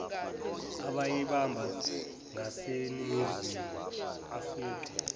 abeyibambe ngaseningizimu aficwe